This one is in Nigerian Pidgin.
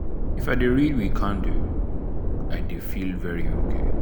if i dey read with candle i dey feel very ok.